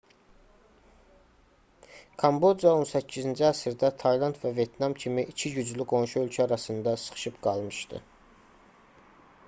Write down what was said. kamboca 18-ci əsrdə tayland və vyetnam kimi iki güclü qonşu ölkə arasında sıxışıb qalmışdı